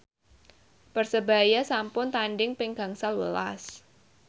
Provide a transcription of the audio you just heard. Persebaya sampun tandhing ping gangsal welas